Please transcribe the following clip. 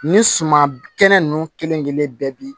Ni suman kɛnɛ nunnu kelenkelen bɛ bi